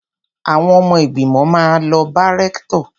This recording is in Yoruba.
Àwọn ọmọ ìgbìmọ̀ máa lọ bá rẹ́ktọ̀.